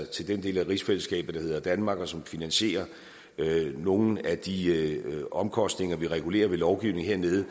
til den del af rigsfællesskabet der hedder danmark og som finansierer nogle af de omkostninger vi regulerer ved lovgivning hernede